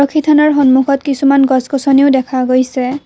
থানাৰ সন্মুখত কিছুমান গছ গছনিও দেখা গৈছে।